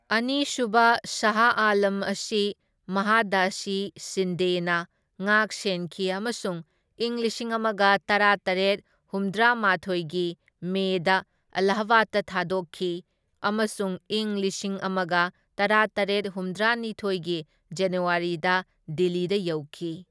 ꯑꯅꯤ ꯁꯨꯕ ꯁꯥꯍ ꯑꯥꯂꯝ ꯑꯁꯤ ꯃꯍꯥꯗꯥꯖꯤ ꯁꯤꯟꯗꯦꯅ ꯉꯥꯛꯁꯦꯟꯈꯤ ꯑꯃꯁꯨꯡ ꯢꯪ ꯂꯤꯁꯤꯡ ꯑꯃꯒ ꯇꯔꯥꯇꯔꯦꯠ ꯍꯨꯝꯗ꯭ꯔꯥ ꯃꯥꯊꯣꯢꯒꯤ ꯃꯦꯗ ꯑꯦꯂꯥꯍꯥꯕꯥꯗ ꯊꯥꯗꯣꯛꯈꯤ ꯑꯃꯁꯨꯡ ꯢꯪ ꯂꯤꯁꯤꯡ ꯑꯃꯒ ꯇꯔꯥꯇꯔꯦꯠ ꯍꯨꯝꯗ꯭ꯔꯥꯅꯤꯊꯣꯢꯒꯤ ꯖꯅꯋꯥꯔꯤꯗ ꯗꯤꯜꯂꯤꯗ ꯌꯧꯈꯤ꯫